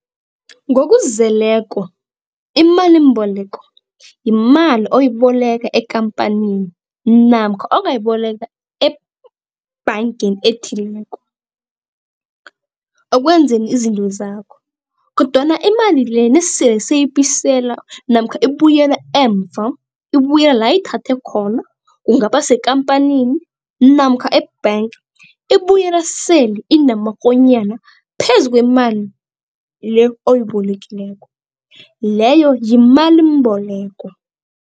Ngokuzeleko imalimboleko yimali oyiboleka ekampanini namkha ongayiboleka ebhangeni ethileko okwenzeni izinto zakho kodwana imali le nesele siyibisela namkha ibuyela emva ibuyela la ayithathe khona kungaba sekampanini namkha e-bank ibuyela sele inamakonyana phezu kwemali le oyibolekileko leyo yimalimboleko.